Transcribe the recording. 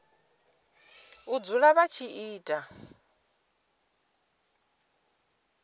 u dzula vha tshi ita